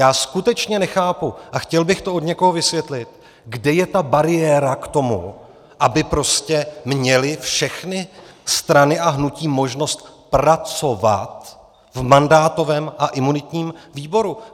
Já skutečně nechápu a chtěl bych to od někoho vysvětlit, kde je ta bariéra k tomu, aby prostě měly všechny strany a hnutí možnost pracovat v mandátovém a imunitním výboru.